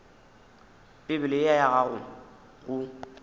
bibele ye ya gago go